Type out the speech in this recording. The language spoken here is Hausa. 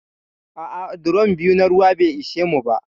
A'a, drom biyu na ruwa bai ishe mu ba.